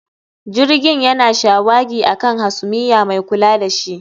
Jirgin yana shawagi a kan hasumiya mai kula da shi